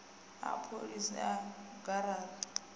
a pholisi a a angaredza